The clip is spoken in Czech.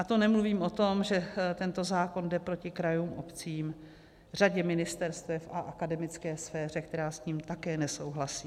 A to nemluvím o tom, že tento zákon jde proti krajům, obcím, řadě ministerstev a akademické sféře, která s tím také nesouhlasí.